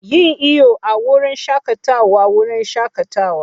Yin iyo a wurin shakatawa wurin shakatawa.